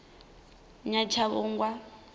nyatshavhungwa